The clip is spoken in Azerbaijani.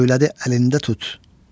söylədi əlində tut.